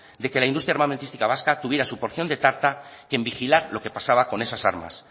de que la industria armamentística vasca tuviera su porción de tarta que en vigilar lo que pasaba con esas armas